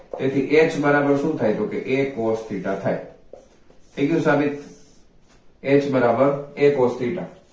તેથી h બરાબર શુ થાય તો કે a cos theta થાય થઈ ગયુ સાબિત h બરાબર a cos theta